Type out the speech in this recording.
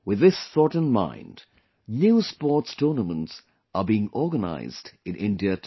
With this thought in mind, new sports tournaments are being organized in India today